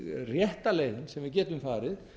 rétta leiðin sem við getum farið